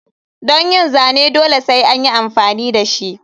Don yin zane dole sai anyi amfani dashi.